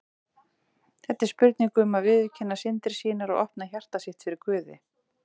Þetta er spurning um að viðurkenna syndir sínar og opna hjarta sitt fyrir Guði.